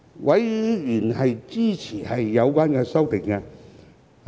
委員支持有關修正案。